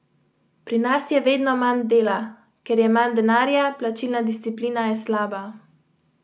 Odidem na verando za hišo in pogledam.